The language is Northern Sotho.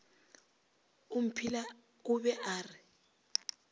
omphile o be a re